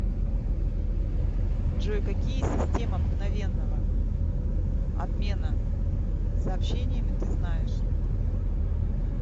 джой какие система мгновенного обмена сообщениями ты знаешь